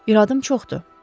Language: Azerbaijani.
İradım çoxdur.